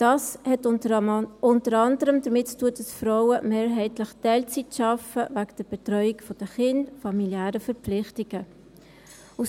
Dies hat unter anderem damit zu tun, dass Frauen wegen der Betreuung der Kinder, familiären Verpflichtungen, mehrheitlich Teilzeit arbeiten.